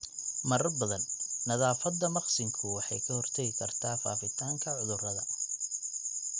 Marar badan, nadaafadda maqsinku waxay ka hortagi kartaa faafitaanka cudurrada.